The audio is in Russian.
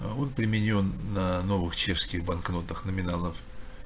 аа он применён на новых чешских банкнотах номиналов